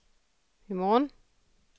i morgen